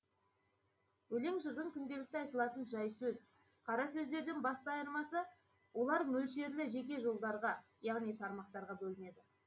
өлең жырдың күнделікті айтылатын жай сөз қара сөздерден басты айырмасы олар мөлшерлі жеке жолдарға яғни тармақтарға бөлінеді